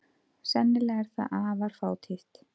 Sennilega er það afar fátítt.